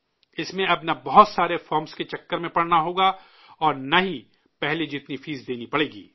اس میں اب نہ بہت سارے فارم کے چکر میں پڑنا ہوگا، نہ ہی پہلے جتنی فیس دینی پڑے گی